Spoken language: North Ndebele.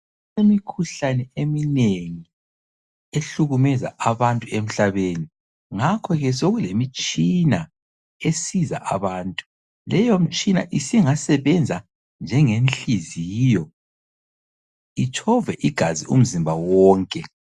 Imikhuhlane eminengi ehlukumeza abantu emhlabeni, ngakhoke sekulemitshina esiza abantu, leyo mitshina isingasebenza njengenhliziyo, itshove igazi umzimba wonke.